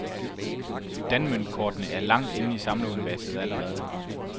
Danmøntkortene er langt inde i samleruniverset allerede.